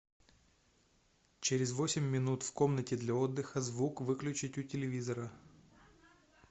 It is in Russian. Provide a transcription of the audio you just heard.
через восемь минут в комнате для отдыха звук выключить у телевизора